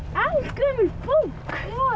er eldgömul bók já